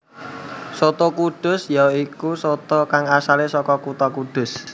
Soto kudus ya iku soto kang asalé saka kutha Kudus